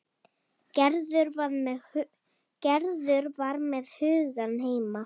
Gerður var með hugann heima.